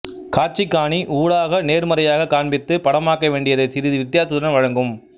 காட்சிகாணி ஊடாக நேர்மறையாக காண்பித்து படமாக்க வேண்டியதை சிறிது வித்தியாசத்துடன் வழங்கும்